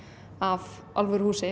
af alvöru húsi